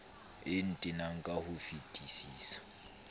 e ntenang ka ho fetisisa